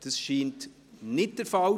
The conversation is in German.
– Das ist nicht der Fall;